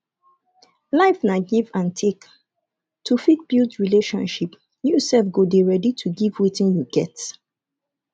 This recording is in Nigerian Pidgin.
life na give and take to fit build relationship you sef go dey ready to give wetin you get